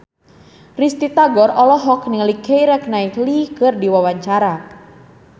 Risty Tagor olohok ningali Keira Knightley keur diwawancara